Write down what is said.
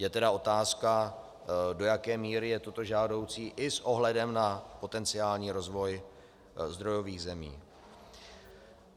Je tedy otázka, do jaké míry je toto žádoucí i s ohledem na potenciální rozvoj zdrojových zemí.